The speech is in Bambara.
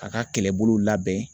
A ka kɛlɛbolo labɛn